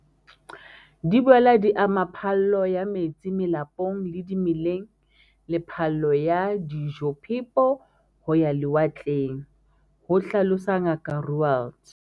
"Di boela di ama phallo ya metsi melapong le dimeleng le phallo ya dijophepo ho ya lewatleng," ho hlalosa Ngaka Roualt.